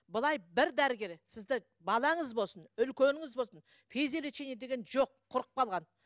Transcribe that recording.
былай бір дәрігер сізді балаңыз болсын үлкеніңіз болсын физиолечение деген жоқ құрып қалған